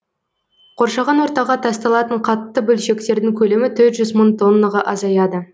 қоршаған ортаға тасталатын қатты бөлшектердің көлемі төрт жүз мың тоннаға азаяды